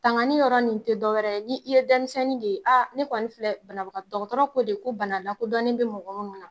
Tangani yɔrɔ nin tɛ dɔwɛrɛ ye ni i ye denmisɛnninni de ye aa ne kɔni filɛ banabaga dɔgɔtɔrɔ ko de ko bana lakodɔnnien bɛ mɔgɔ minnu na.